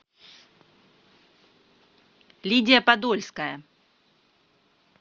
лидия подольская